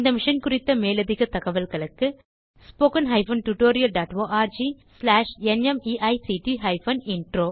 இந்த மிஷன் குறித்த மேலதிக தகவல்களுக்கு httpspoken tutorialorgNMEICT Intro